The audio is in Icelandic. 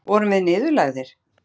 Vorum við niðurlægðir?